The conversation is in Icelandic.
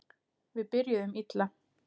Við byrjuðum illa